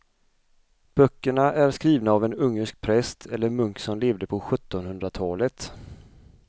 Böckerna är skrivna av en ungersk präst eller munk som levde på sjuttonhundratalet.